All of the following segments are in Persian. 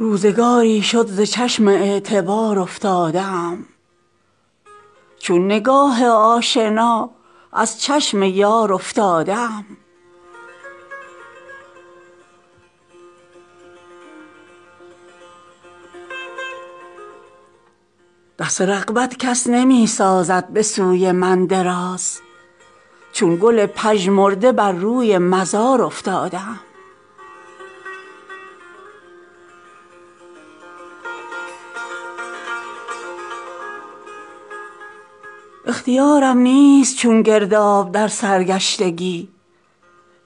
روزگاری شد ز چشم اعتبار افتاده ام چون نگاه آشنا از چشم یار افتاده ام دست رغبت کس نمی سازد به سوی من دراز چون گل پژمرده بر روی مزار افتاده ام اختیارم نیست چون گرداب بر سرگشتگی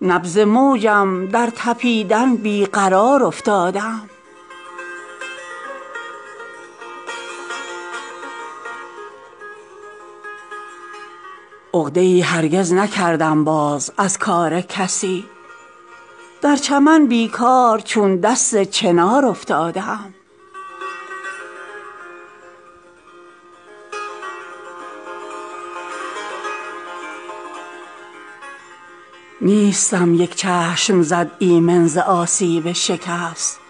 نبض موجم در تپیدن بی قرار افتاده ام عقده ای هرگز نکردم باز از کار کسی در چمن بیکار چون دست چنار افتاده ام نیستم یک چشم زد ایمن ز آسیب شکست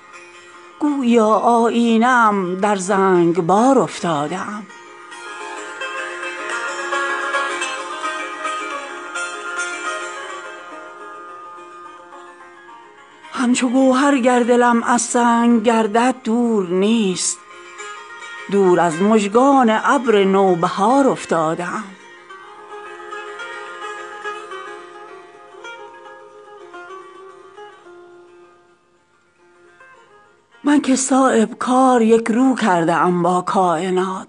گوییا آیینه ام در زنگبار افتاده ام همچو گوهر گر دلم از سنگ گردد دور نیست دور از مژگان ابر نوبهار افتاده ام من که صایب کار یک رو کرده ام با کاینات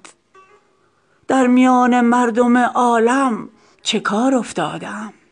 در میان مردم عالم چه کار افتاده ام